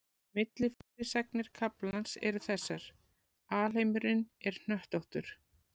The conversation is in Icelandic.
Millifyrirsagnir kaflans eru þessar: Alheimurinn er hnöttóttur.